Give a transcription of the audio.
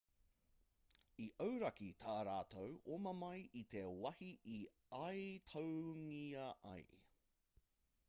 i auraki tā rātou oma mai i te wāhi i aituangia ai